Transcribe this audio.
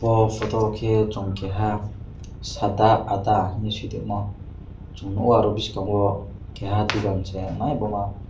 o photo ke chong keha sada adda hing si toimo song nogo boskango keha dogan se wngnai amo.